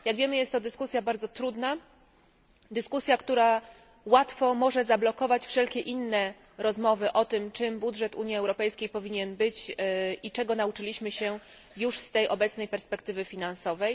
Jak wiemy, jest to dyskusja bardzo trudna, dyskusja, która łatwo może zablokować wszelkie inne rozmowy o tym, czym budżet Unii Europejskiej powinien być i czego nauczyliśmy się już z tej obecnej perspektywy finansowej.